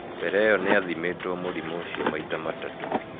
Mbere ĩyo nĩ athimĩtũo mũrimũ ũcio maita matatũ.